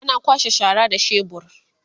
ana kwasha shara da shebur